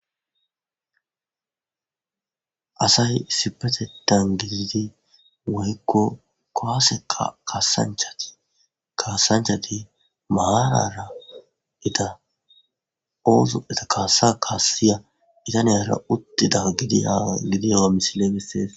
Asay sipetetan gididi woykko koaseka kasanchati kaasanchati maarara ita oozu eta kaasa kaassiya itaniyara uttida gidiyaa gidiyawa misile gessees.